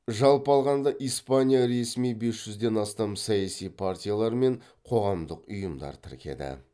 жалпы алғанда испания ресми бес жүзден астам саяси партиялар мен қоғамдық ұйымдар тіркеді